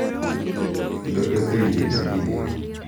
Kendo ketho yie ma ji nigo.